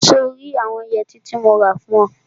So rí àwọn yẹtí tí mo rà fún ọ?